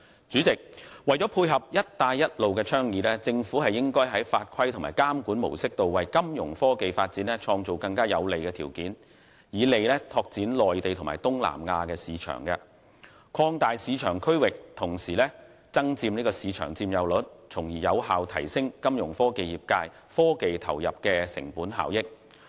主席，為配合"一帶一路"的倡議，政府應在法規和監管模式方面為金融科技發展創造更有利的條件，以利拓展內地及東南亞市場，擴大市場區域同時增佔市場佔有率，從而有效提升金融科技業界科技投入的成本效益。